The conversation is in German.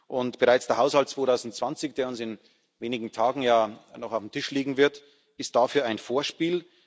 Und bereits der Haushalt 2020, der in wenigen Tagen auf dem Tisch liegen wird, ist dafür ein Vorspiel.